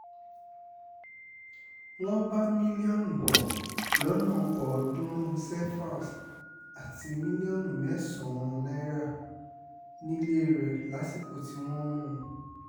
wọ́n bá mílíọ̀nù lọ́nà ọ̀ọ́dúnrún cefas àti mílíọ̀nù mẹ́sàn-án náírà nílé rẹ̀ lásìkò tí wọ́n mú un